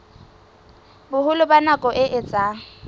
boholo ba nako e etsang